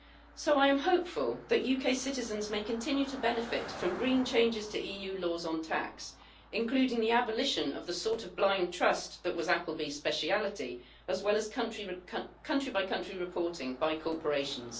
So, I am hopeful that UK citizens may continue to benefit from green changes to EU laws on tax, including the abolition of the sort of blind trust that was Appleby's speciality, as well as country by country reporting by corporations.